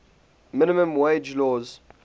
minimum wage laws